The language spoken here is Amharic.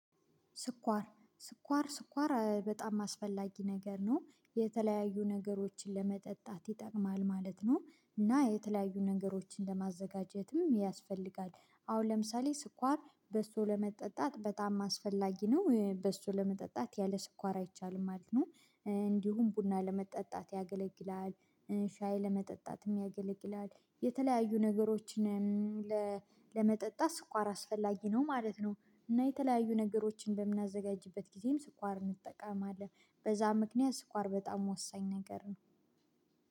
ስኳር ስኳር ስኳር በጣም አስፈላጊ ነገር ነው የተለያዩ ነገሮችን ለመጠጣት ይጠቅማል ማለት ነው እና የተለያዩ ነገሮችን ለማዘጋጀትም ያስፈልጋል። አሁን ለምሳሌ ስኳር በሶ ለመጠጣት በጣም አስፈላጊ ነው በሱ ለመጠጣት ያለ ስኳር አይቻልም ማለት ነው። እንዲሁም ቡና ለመጠጣት ያገለግላል። ሻይ ለመጠጣትም ያገለግላል። የተለያዩ ነገሮችንም ለመጠጣት ስኳር አስፈላጊ ነው ማለት ነው። እና የተለያዩ ነገሮችን በምናዘጋጅበት ጊዜም ስኳር እንጠቃማለን በዛ ምክንያት ስኳር በጣም ወሳኝ ነገር ነው።